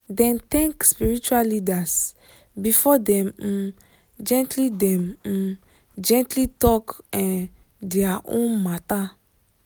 dem thank spiritual leaders before dem um gently dem um gently talk um dia own matter